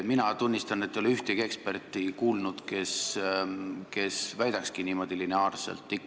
Mina tunnistan, et ei ole kuulnud ühtegi eksperti, kes niimoodi lineaarselt väidaks.